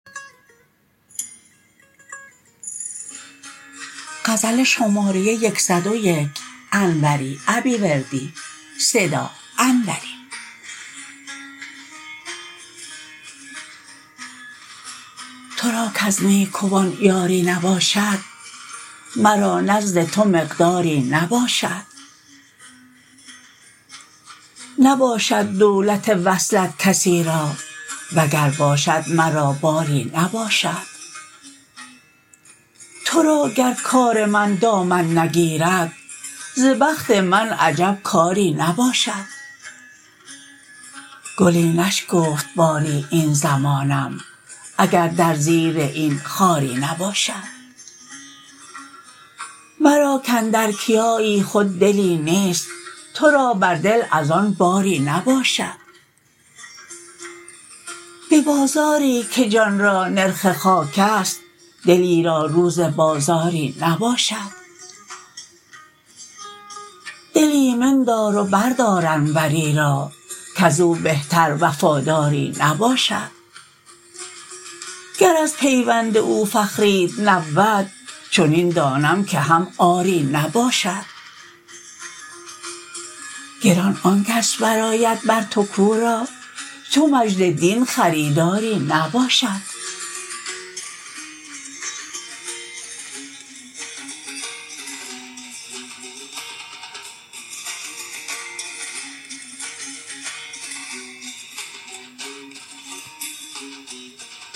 ترا کز نیکوان یاری نباشد مرا نزد تو مقداری نباشد نباشد دولت وصلت کسی را وگر باشد مرا باری نباشد ترا گر کار من دامن نگیرد ز بخت من عجب کاری نباشد گلی نشکفت باری این زمانم اگر در زیر این خاری نباشد مرا کاندر کیایی خود دلی نیست ترا بر دل از آن باری نباشد به بازاری که جان را نرخ خاکست دلی را روز بازاری نباشد دل ایمن دار و بردار انوری را کزو بهتر وفاداری نباشد گر از پیوند او فخریت نبود چنین دانم که هم عاری نباشد گران آنکس برآید بر تو کو را چو مجدالدین خریداری نباشد